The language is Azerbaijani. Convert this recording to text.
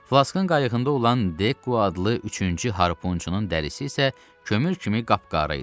Flaskın qayığında olan Dekku adlı üçüncü harpunçunun dərisi isə kömür kimi qapqarı idi.